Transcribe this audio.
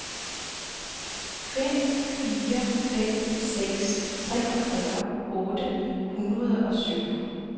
fem fire fem seks treogfyrre otte hundrede og syv